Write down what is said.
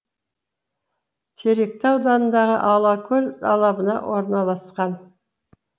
теректі ауданыдағы алакөл алабына орналасқан